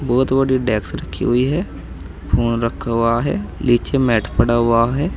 बहुत बड़ी डेक्स रखी हुई है फोन रखा हुआ है नीचे मैट पड़ा हुआ है।